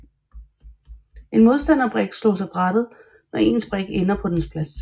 En modstanderbrik slås af brættet når ens brik ender på dens plads